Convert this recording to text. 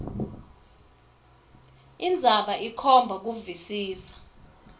indzaba ikhomba kuvisisa